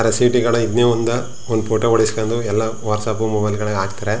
ರಸಿಟಿಗ್ಲ್ ಇದ್ನೇ ಒಂದ್ ಒಂದ್ ಫೋಟೋ ಓಡ್ಸಕೊಂಡು ಎಲ್ಲಾ ವಾಟ್ಸಪ್ಪ್ ಮೊಬೈಲ್ ಗಳಲ್ಲಿ ಹಾಕತ್ತರೆ.